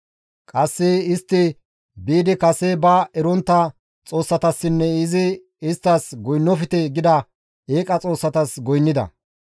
Qasse istti biidi kase ba erontta xoossatassinne izi isttas goynnofte gida eeqa xoossatas goynnida.